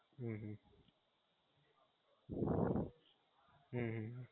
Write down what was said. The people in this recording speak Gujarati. હમ